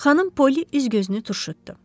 Xanım Poli üz-gözünü turşutdu.